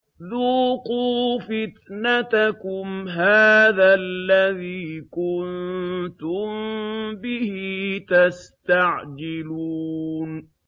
ذُوقُوا فِتْنَتَكُمْ هَٰذَا الَّذِي كُنتُم بِهِ تَسْتَعْجِلُونَ